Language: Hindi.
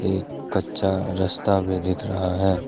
एक कच्चा रस्ता भी दिख रहा है।